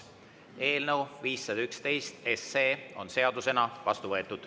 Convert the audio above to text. Eelnõu 511 on seadusena vastu võetud.